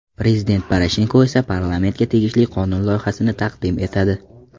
Prezident Poroshenko esa parlamentga tegishli qonun loyihasini taqdim etadi.